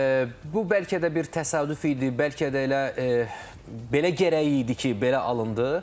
Və bu bəlkə də bir təsadüf idi, bəlkə də elə belə gərək idi ki, belə alındı.